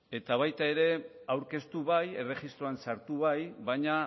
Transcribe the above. eta baita ere aurkeztu bai erregistroan sartu bai baina